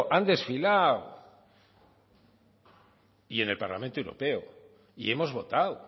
han desfilado y en el parlamento europeo y hemos votado